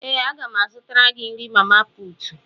Ee, a ga m azụtara gị nrí mamaputù